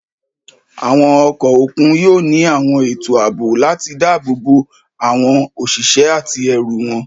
Àwọn ọkọ̀ òkun yóò ní àwọn ètò ààbò láti dáàbò bo àwọn òṣìṣẹ́ àti ẹrù wọn.